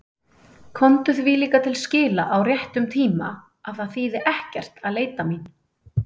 Komdu því líka til skila á réttum tíma að það þýði ekkert að leita mín.